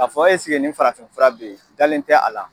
Ka fɔ nin farafin fura be yen? U dalen tɛ a la.